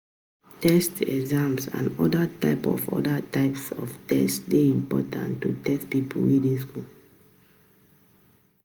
Tests, exam and oda types of oda types of test dey important to test pipo wey dey school